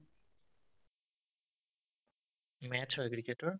match হয় ক্ৰিকেটৰ